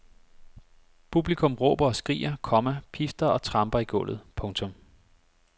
Publikum råber og skriger, komma pifter og tramper i gulvet. punktum